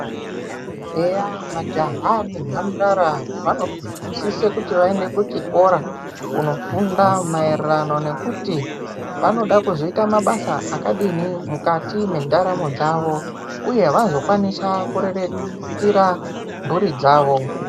Eya majaha nemhandara vanosise kuti vaende kuchikora kunofunda maererano nekuti vanoda kuzoita mabasa akadini mukati mendaramo dzavo, uye vazokwanisa kuriritira mhuri dzavo.